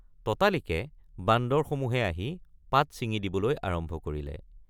ততালিকে বান্দৰসমূহে আহি পাত ছিঙি দিবলৈ আৰম্ভ কৰিলে।